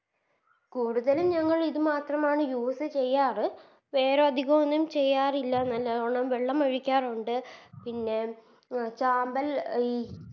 കൂടുതലും ഞങ്ങൾ ഇതുമാത്രമാണ് Use ചെയ്യാറ് വേറെ അതിക്കൊന്നും ചെയ്യാറില്ല നല്ലോണം വെള്ളം ഒഴിക്കാറോണ്ട് പിന്നെ അഹ് ചാമ്പൽ ഈ